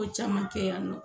Ko caman kɛ yan nɔ